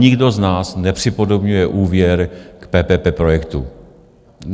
Nikdo z nás nepřipodobňuje úvěr k PPP projektům.